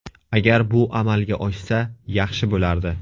Agar bu amalga oshsa, yaxshi bo‘lardi.